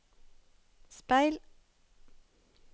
speil